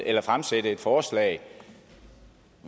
at fremsætte et forslag